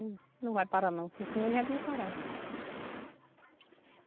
Ele não vai parar não, porque senão ele já tinha parado.